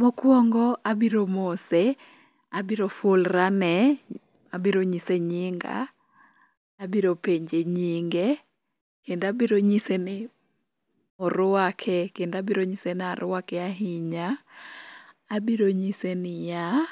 Mokwongo abiro mose, abiro fulra ne, abiro nyise nyinga, abiro penje nyinge, kendo abiro nyise ni orwake kendo abiro nyise ni arwake ahinya. Abiro nyise niyaa,